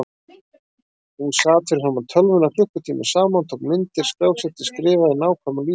Hún sat fyrir framan tölvuna klukkutímum saman, tók myndir, skrásetti, skrifaði nákvæmar lýsingar.